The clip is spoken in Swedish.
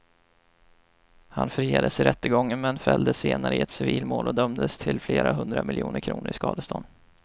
Han friades i rättegången men fälldes senare i ett civilmål och dömdes till flera hundra miljoner kronor i skadestånd.